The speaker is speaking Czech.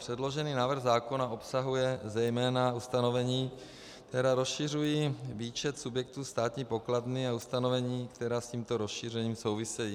Předložený návrh zákona obsahuje zejména ustanovení, která rozšiřují výčet subjektů státní pokladny a ustanovení, která s tímto rozšířením souvisejí.